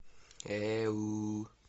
эу